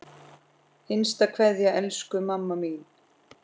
HINSTA KVEÐJA Elsku mamma mín.